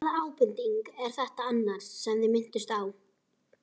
Hvaða ábending er þetta annars sem þið minntust á?